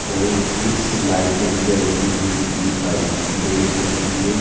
और कुछ लाइटे जलती हुई दिखाई दे रही हैं।